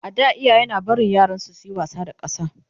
a da iyaye na barin yaransu suyi wasa da ƙasa